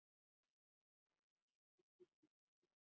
Ég verð að sjá tilgang!